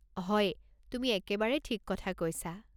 হয়, তুমি একেবাৰে থিক কথা কৈছা?